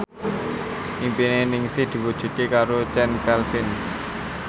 impine Ningsih diwujudke karo Chand Kelvin